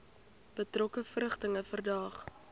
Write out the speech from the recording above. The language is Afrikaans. betrokke verrigtinge verdaag